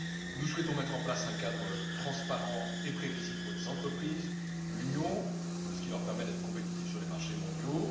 Nous souhaitons mettre en place un cadre transparent et prévisible pour les entreprises de l'Union, qui leur permette d'être compétitives sur les marchés mondiaux.